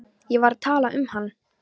Ég var að tala um hann.